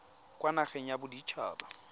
kwa nageng ya bodit haba